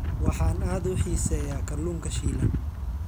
Waxaan aad u xiiseeyaa kalluunka shiilan.